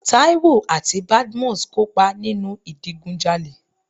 Táíwò àti Badmus kópa nínu ìdigunjalè.